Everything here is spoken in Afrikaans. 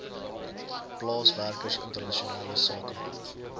plaaswerkers internasionale sakemanne